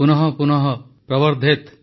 ପୁନଃ ପୁନଃ ପ୍ରବର୍ଧେତ୍